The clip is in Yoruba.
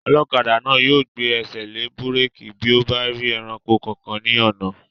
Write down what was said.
Ọlọ́kadà náà yóò gbé ẹsẹ̀ lé búrèkì bí ó bá rí ẹranko kankan ní ọ̀nà